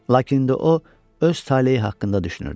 Lakin indi o öz taleyi haqqında düşünürdü.